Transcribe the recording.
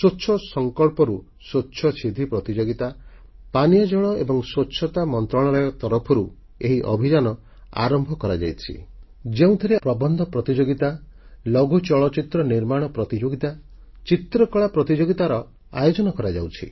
ସ୍ୱଚ୍ଛ ସଂକଳ୍ପରୁ ସ୍ୱଚ୍ଛ ସିଦ୍ଧି ପ୍ରତିଯୋଗିତା ପାନୀୟ ଜଳ ଏବଂ ସ୍ୱଚ୍ଛତା ମନ୍ତ୍ରଣାଳୟ ତରଫରୁ ଏହି ଅଭିଯାନ ଆରମ୍ଭ କରାଯାଇଛି ଯେଉଁଥିରେ ପ୍ରବନ୍ଧ ପ୍ରତିଯୋଗିତା କ୍ଷୁଦ୍ର ଚଳଚ୍ଚିତ୍ର ନିର୍ମାଣ ପ୍ରତିଯୋଗିତା ଚିତ୍ରକଳା ପ୍ରତିଯୋଗିତାର ଆୟୋଜନ କରାଯାଉଛି